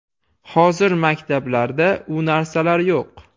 Hozir maktablarda u narsalar yo‘q.